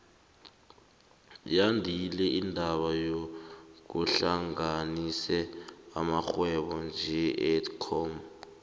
yandile indaba yokuhlanganisa amarhwebo njenge edcon